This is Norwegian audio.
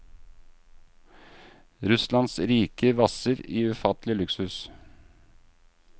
Russlands rike vasser i ufattelig luksus.